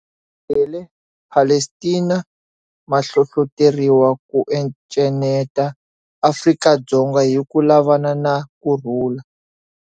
Isirayele, Palestina ma hlohloteriwa ku encenyeta Afrika-Dzonga hi ku lavana na ku rhula.